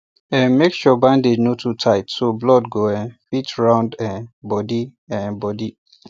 um make sure bandage no too tight so blood go um fit round the um body um body